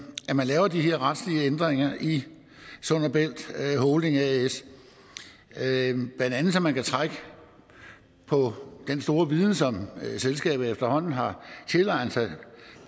laver de her retslige ændringer i sund og bælt holding as blandt andet så man kan trække på den store viden som selskabet efterhånden har tilegnet sig